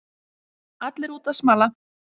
Allir úti að smala